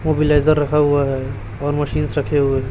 वो ब्लेजर रखा हुआ है और मशीन्स रखे हुए--